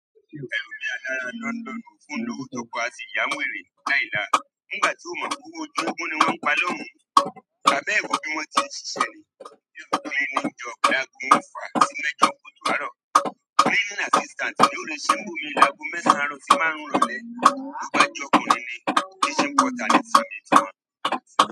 Kò lọ́wọ́ to po asì yàá ń wèrè láìlà, nígbàtí ò mọ́ p'ówó ojú eégún ni wọ́n ń pa lọ́hùn ún, tà bẹ́ẹ̀ ri bí wọ́n ti ń ṣiṣẹ́ ni, nínú ijọ́ kan ago mẹ́fà sí mẹ́jọ kùtù àárọ̀, cleaning assistant ni yí ọ́ lọ ṣe ní bò míì láago márùn-ún àárọ̀ sí mẹ́sàn-án ìrọ̀lẹ́.